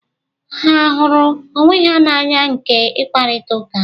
Ha a hụrụ onwe na anya nke ị kparịta ụka?